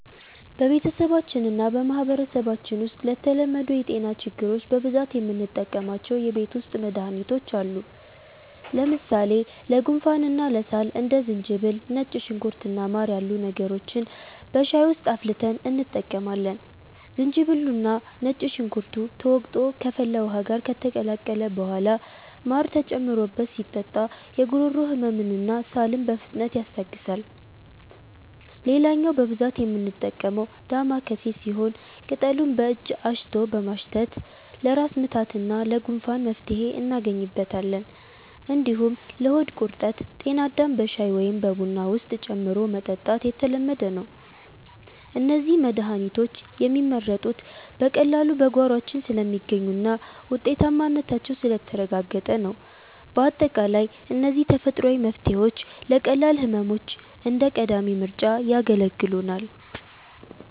በቤተሰባችንና በማህበረሰባችን ውስጥ ለተለመዱ የጤና ችግሮች በብዛት የምንጠቀማቸው የቤት ውስጥ መድሃኒቶች አሉ። ለምሳሌ ለጉንፋንና ለሳል እንደ ዝንጅብል፣ ነጭ ሽንኩርት እና ማር ያሉ ነገሮችን በሻይ ውስጥ አፍልተን እንጠቀማለን። ዝንጅብሉና ነጭ ሽንኩርቱ ተወቅሮ ከፈላ ውሃ ጋር ከተቀላቀለ በኋላ ማር ተጨምሮበት ሲጠጣ የጉሮሮ ህመምንና ሳልን በፍጥነት ያስታግሳል። ሌላኛው በብዛት የምንጠቀመው 'ዳማከሴ' ሲሆን፣ ቅጠሉን በእጅ አሽቶ በማሽተት ለራስ ምታትና ለጉንፋን መፍትሄ እናገኝበታለን። እንዲሁም ለሆድ ቁርጠት 'ጤናዳም' በሻይ ወይም በቡና ውስጥ ጨምሮ መጠጣት የተለመደ ነው። እነዚህ መድሃኒቶች የሚመረጡት በቀላሉ በጓሯችን ስለሚገኙና ውጤታማነታቸው ስለተረጋገጠ ነው። ባጠቃላይ እነዚህ ተፈጥሯዊ መፍትሄዎች ለቀላል ህመሞች እንደ ቀዳሚ ምርጫ ያገለግሉናል።